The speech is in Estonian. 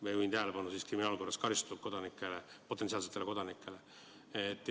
Ma juhin tähelepanu, et jutt käib kriminaalkorras karistatud potentsiaalsetest kodanikest.